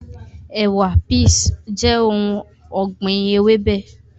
Ẹ̀wà(peas) jẹ́ ohun ọ̀gbìn ewébẹ̀